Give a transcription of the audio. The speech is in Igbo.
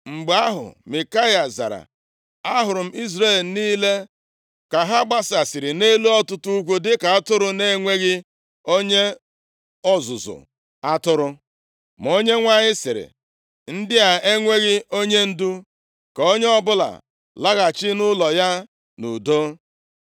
Mgbe ahụ Mikaya zara, “Ahụrụ m Izrel niile ka ha gbasasịrị nʼelu ọtụtụ ugwu dịka atụrụ na-enweghị onye ọzụzụ atụrụ, ma Onyenwe anyị sịrị, ‘Ndị a enweghị onyendu. Ka onye ọbụla laghachi nʼụlọ ya nʼudo.’ ”